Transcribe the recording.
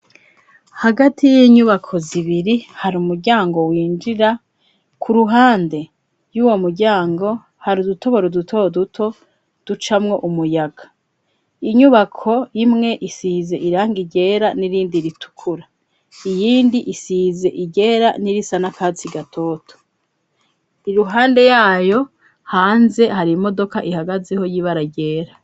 Hagati y'inyubako zibiri hari umuryango winjira, ku ruhande y'uwo muryango hari udutoboro duto duto ducamwo umuyaga. Inyubako imwe isiyize irangi ryera n'irindi ritukura iyindi isize iryera n'irisa n'akatsi gatoto. Iruhande yayo hanze hari imodoka ihagazeho y'ibara ryera.